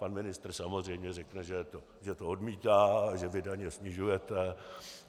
Pan ministr samozřejmě řekne, že to odmítá, že vy daně snižujete.